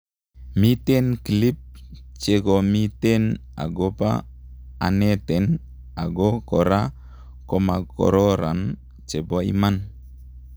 Miten clip chekomiten ago pa aneten ago kora komakokaran chepo iman